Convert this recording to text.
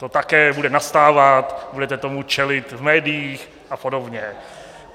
To také bude nastávat, budete tomu čelit v médiích a podobně.